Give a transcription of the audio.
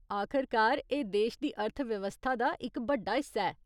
आखरकार, एह् देश दी अर्थव्यवस्था दा इक बड्डा हिस्सा ऐ।